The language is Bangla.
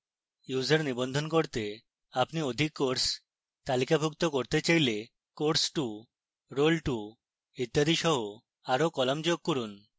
users নিবন্ধন করতে আপনি অধিক courses তালিকাভুক্ত করতে চাইলে course2 role2 ইত্যাদি সহ আরো কলাম যোগ করুন